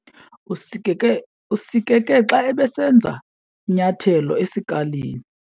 Usikeke xa ebesenza inyathelo esikalini.